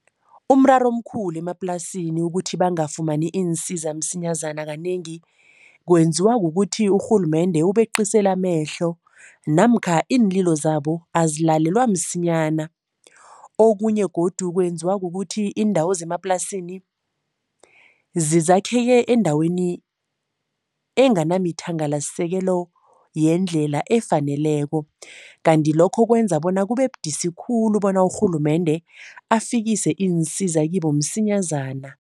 Umraro omkhulu emaplasini ukuthi bangafumani iinsiza msinyazana kanengi, kwenziwa kukuthi urhulumende ubeqisela amehlo namkha iinlilo zabo azilalelwa msinyana. Okunye godu kwenziwa kukuthi iindawo zemaplasini zakheke endaweni enganamithangalasisekelo yendlela efaneleko kanti lokho kwenza bona kube budisi khulu bona urhulumende afikise iinsiza kibo msinyazana.